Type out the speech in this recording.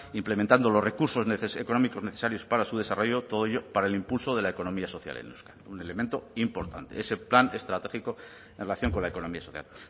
implementando los recursos económicos necesarios para su desarrollo todo ello para el impulso de la economía social en euskadi un elemento importante ese plan estratégico en relación con la economía social